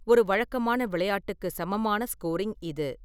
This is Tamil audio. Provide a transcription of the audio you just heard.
ஒரு வழக்கமான விளையாட்டுக்கு சமமான ஸ்கோரிங் இது.